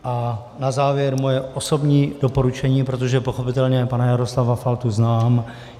A na závěr moje osobní doporučení, protože pochopitelně pana Jaroslava Faltu znám.